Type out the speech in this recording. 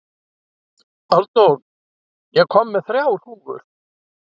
Arnór, ég kom með þrjár húfur!